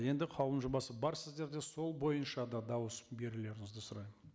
енді қаулының жобасы бар сіздерде сол бойынша да дауыс берулеріңізді сұраймын